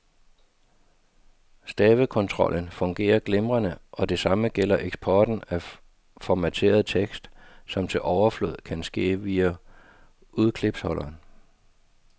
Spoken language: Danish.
Stavekontrollen fungerer glimrende, og det samme gælder eksporten af formateret tekst, som til overflod kan ske via udklipsholderen.